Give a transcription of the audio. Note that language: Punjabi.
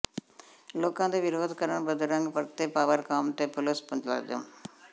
ਲੋਕਾਂ ਦੇ ਵਿਰੋਧ ਕਰਨ ਬਦਰੰਗ ਪਰਤੇ ਪਾਵਰਕਾਮ ਤੇ ਪੁਲਸ ਮੁਲਾਜ਼ਮ